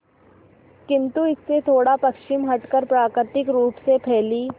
किंतु इससे थोड़ा पश्चिम हटकर प्राकृतिक रूप से फैली